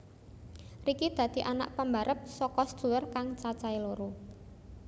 Ricky dadi anak pambarep saka sedulur kang cacahé loro